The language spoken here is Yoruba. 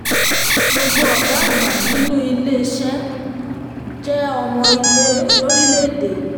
gbogbo ọgá àgbà nínú ilé um iṣẹ́ um jẹ́ ọmọ ilé lórílẹ̀-èdè yìí.